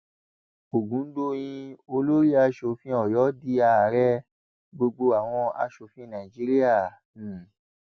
ọgùndọyìn olórí asòfin ọyọ di ààrẹ gbogbo àwọn asòfin nàìjíríà um